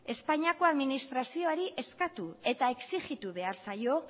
espainiako administrazioari eskatu eta exigitu behar zaio